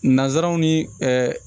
Nanzsaraw ni ɛɛ